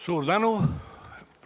Suur tänu!